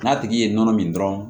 N'a tigi ye nɔnɔ min dɔrɔn